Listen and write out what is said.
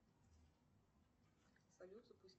салют